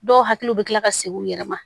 Dɔw hakili bɛ tila ka segin u yɛrɛ ma